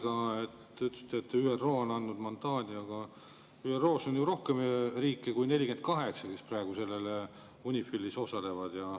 Nüüd te ütlesite, et ÜRO on andnud mandaadi, aga ÜRO-s on ju rohkem riike kui 48, kes praegu UNIFIL-is osalevad.